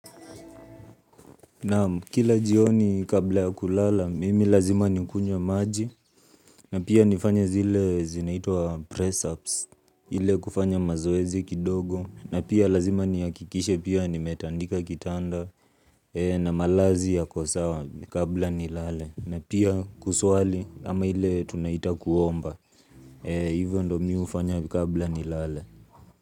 Naam, kila jioni kabla ya kulala, mimi lazima nikunywe maji, na pia nifanya zile zinaitwa press ups, ile kufanya mazoezi kidogo, na pia lazima nihakikishe pia nimetandika kitanda, na malazi yako sawa kabla nilale na pia kuswali ama ile tunaita kuomba, hivyo ndio mi hufanya kabla nilale.